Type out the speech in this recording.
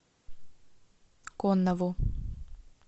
коннову